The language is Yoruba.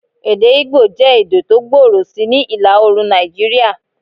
Èdè Igbo jẹ́ èdè tó gbòòrò sí ni ìlà-oorùn Nàìjíríà.